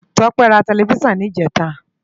Tope rá tèlèfisán nijètá